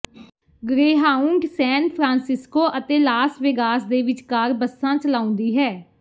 Greyhound San Francisco ਅਤੇ Las Vegas ਦੇ ਵਿਚਕਾਰ ਬੱਸਾਂ ਚਲਾਉਂਦੀ ਹੈ